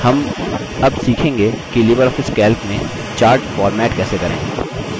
हम अब सीखेंगे कि libreoffice calc में charts format कैसे करें